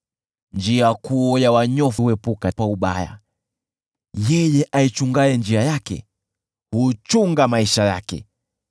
Njia kuu ya wanyofu huepuka ubaya; yeye aichungaye njia yake, huchunga maisha yake.